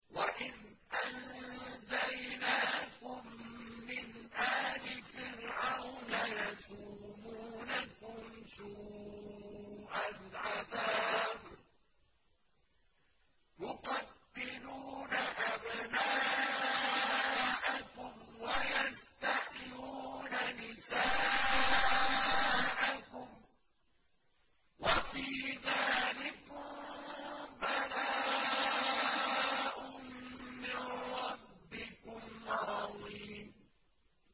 وَإِذْ أَنجَيْنَاكُم مِّنْ آلِ فِرْعَوْنَ يَسُومُونَكُمْ سُوءَ الْعَذَابِ ۖ يُقَتِّلُونَ أَبْنَاءَكُمْ وَيَسْتَحْيُونَ نِسَاءَكُمْ ۚ وَفِي ذَٰلِكُم بَلَاءٌ مِّن رَّبِّكُمْ عَظِيمٌ